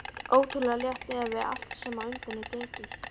Ótrúlega létt miðað við allt sem á undan er gengið.